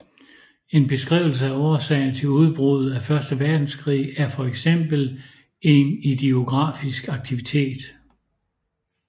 En beskrivelse af årsagerne til udbruddet af første verdenskrig er for eksempel en idiografisk aktivitet